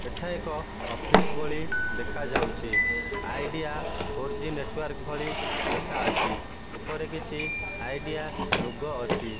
ଏଠା ଏକ ଅଫିସ୍ ଭଳି ଦେଖାଯାଉଚି ଆଇଡିଆ ଫୋର ଜି ନେଟ୍ୱାର୍କ୍ ଭଳି ଲେଖାଅଛି ଓପରେ କିଛି ଆଇଡିଆ ଲୋଗୋ ଅଛି।